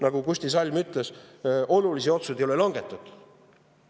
Nagu Kusti Salm ütles, olulisi otsuseid ei ole langetatud.